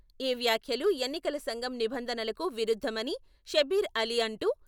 ఈ వ్యాఖ్యలు ఎన్నికల సంఘం నిబంధనలకు విరుద్ధమని షబ్బీర్ అలీ అంటూ...